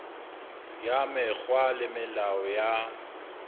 ya mekgwa le melao ya